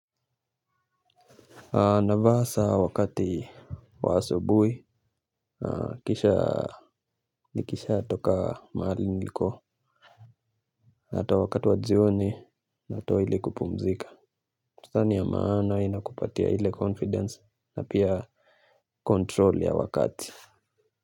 Navaa saa wakati wa asubuhi, kisha nikisha toka mahali niliko. Natoa wakati wajioni, natoa ili kupumzika. Kutani ya maana ina kupatia ile confidence na pia control ya wakati.